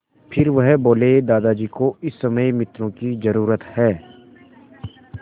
फिर वह बोले दादाजी को इस समय मित्रों की ज़रूरत है